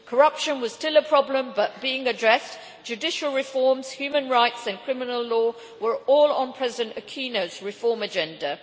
Corruption was still a problem but being addressed, and judicial reforms, human rights and criminal law were all on President Aquino's reform agenda.